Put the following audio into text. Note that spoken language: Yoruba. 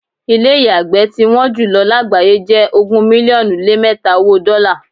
Ilé́ ìyàgbẹ́ tí wọ́n jùlọ lágbàáyé jẹ ogún mílíọ́nù lé mẹta owó dọ́la.